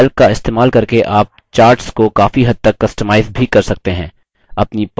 calc का इस्तेमाल करके आप charts को काफी हद तक customize भी कर सकते हैं